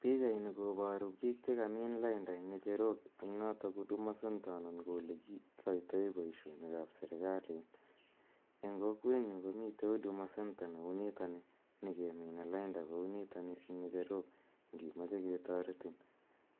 Pichaini koparu piik che kamiin lainda eng' ng'echerok eng' notok huduma center anan ko ole kikaitae poishonik ap serikalit. Eng' kokwenyu komitei ?cs) huduma center ne u nitani ne kemine lainda kou nitani eng' ng'echerok ngimache ketaretin